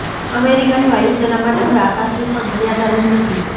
અમેરિકાની વાયુસેના માટે હવે આકાશની પણ મર્યાદા રહી નથી